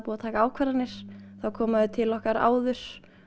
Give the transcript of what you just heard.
að taka ákvarðanir þá koma þau til okkar áður